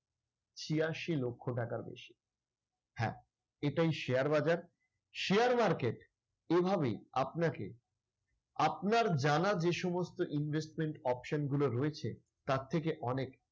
ছিয়াশি লক্ষ টাকার বেশি। হ্যাঁ, এটাই share বাজার। share market এভাবেই আপনাকে আপনার জানা যে সমস্ত investment option গুলো রয়েছে তার থেকে অনেক